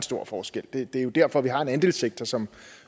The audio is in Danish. stor forskel det er jo derfor vi har en andelssektor som